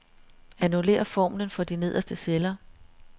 Annullér formlen for de nederste celler.